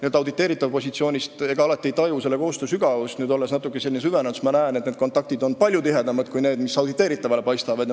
Ega auditeeritava positsioonist alati ei taju selle koostöö sügavust, kuid nüüd, olles natukene süvenenud, ma näen, et kontaktid on palju tihedamad kui need, mis auditeeritavale paistavad.